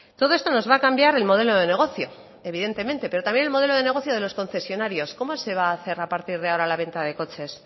todo esto nos va a cambiar el modelo de negocio evidentemente pero también el modelo de negocio de los concesionarios cómo se va a hacer a partir de ahora la venta de coches